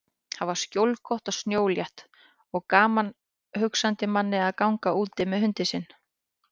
Þar var skjólgott og snjólétt og gaman hugsandi manni að ganga úti með hundinn sinn.